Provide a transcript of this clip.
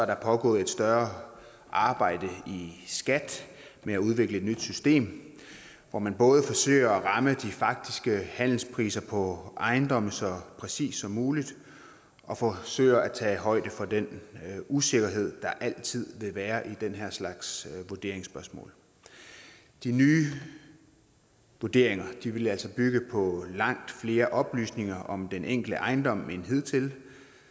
der pågået et større arbejde i skat med at udvikle et nyt system hvor man både forsøger at ramme de faktiske handelspriser på ejendomme så præcist som muligt og forsøger at tage højde for den usikkerhed der altid vil være i den her slags vurderingsspørgsmål de nye vurderinger vil altså bygge på langt flere oplysninger om den enkelte ejendom end hidtil